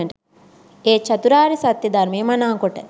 ඒ චතුරාර්ය සත්‍යය ධර්මය මනාකොට